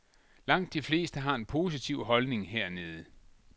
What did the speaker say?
Langt de fleste har en positiv holdning hernede.